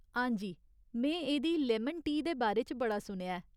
हांजी, में एह्दी लेमन टी दे बारे च बड़ा सुनेआ ऐ।